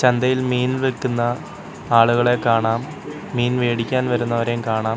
ചന്തയിൽ മീൻ വിൽക്കുന്ന ആളുകളെ കാണാം മീൻ വേടിക്കാൻ വരുന്നവരെയും കാണാം.